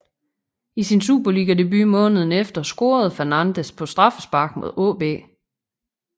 I sin superligadebut måneden efter scorede Fernandez på straffespark mod AaB